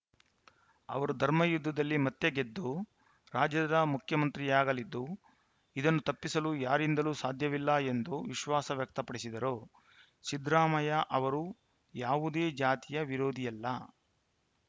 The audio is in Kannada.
ಅವರು ಧರ್ಮಯುದ್ಧದಲ್ಲಿ ಮತ್ತೆ ಗೆದ್ದು ರಾಜ್ಯದ ಮುಖ್ಯಮಂತ್ರಿಯಾಗಲಿದ್ದು ಇದನ್ನು ತಪ್ಪಿಸಲು ಯಾರಿಂದಲೂ ಸಾಧ್ಯವಿಲ್ಲ ಎಂದು ವಿಶ್ವಾಸ ವ್ಯಕ್ತಪಡಿಸಿದರು ಸಿದ್ದರಾಮಯ್ಯ ಅವರು ಯಾವುದೇ ಜಾತಿಯ ವಿರೋಧಿಯಲ್ಲ